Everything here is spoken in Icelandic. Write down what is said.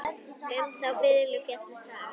Um þá fiðlu fjallar sagan.